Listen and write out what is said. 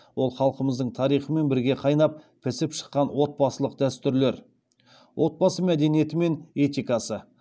ол халқымыздың тарихымен бірге қайнап пісіп шыққан отбасылық дәстүрлер отбасы мәдениеті мен этикасы